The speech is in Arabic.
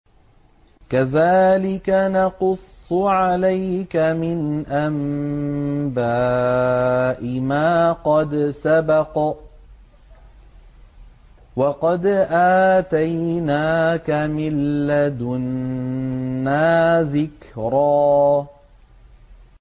كَذَٰلِكَ نَقُصُّ عَلَيْكَ مِنْ أَنبَاءِ مَا قَدْ سَبَقَ ۚ وَقَدْ آتَيْنَاكَ مِن لَّدُنَّا ذِكْرًا